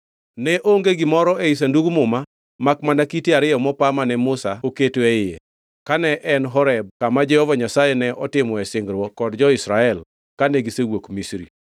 Ne onge gimoro ei Sandug Muma makmana kite ariyo mopa mane Musa oketo e iye kane en Horeb kama Jehova Nyasaye ne otimoe singruok kod jo-Israel kane gisewuok Misri.